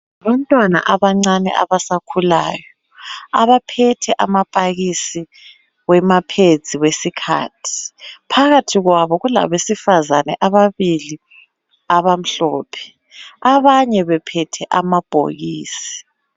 Bantwana abancane abasakhulayo abaphethe amapakisi amaphedzi esikhathi. Phakathi kwabo kulabesifazane ababili abamhlophe, abanye bephethe amabhokisi.